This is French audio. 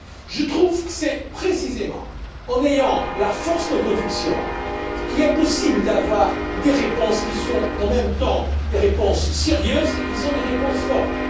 Je trouve que c'est précisément en faisant preuve de la force de conviction qu'il est possible d'avoir des réponses qui soient en même temps des réponses sérieuses et des réponses fortes.